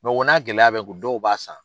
o n'a gɛlɛya bɛ kun dɔw b'a san.